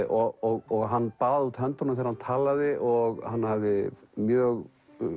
og hann baðaði út höndunum þegar hann talaði og hann hafði mjög